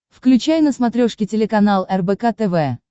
включай на смотрешке телеканал рбк тв